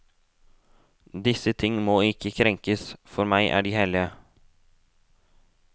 Disse ting må ikke krenkes, for meg er de hellige.